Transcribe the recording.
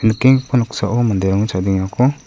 nikenggipa noksao manderangni chadengako--